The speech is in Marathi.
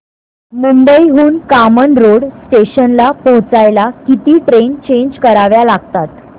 मुंबई हून कामन रोड स्टेशनला पोहचायला किती ट्रेन चेंज कराव्या लागतात